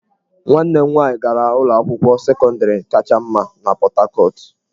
Nwanne m nwanyị gara ụlọ akwụkwọ sekọndịrị kacha mma na Pọt Hakọt.